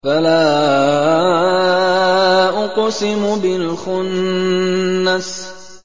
فَلَا أُقْسِمُ بِالْخُنَّسِ